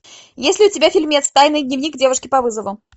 есть ли у тебя фильмец тайный дневник девушки по вызову